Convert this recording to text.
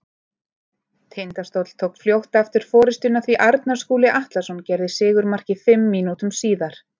Tindastóll tók fljótt aftur forystuna því Arnar Skúli Atlason gerði sigurmarkið fimm mínútum síðar.